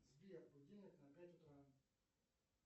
сбер будильник на пять утра